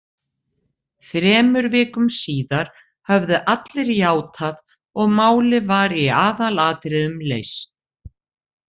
Þremur vikum síðar höfðu allir játað og málið var í aðalatriðum leyst.